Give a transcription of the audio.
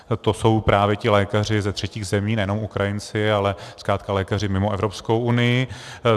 To jsou právě ti lékaři ze třetích zemí, nejenom Ukrajinci, ale zkrátka lékaři mimo Evropskou unii.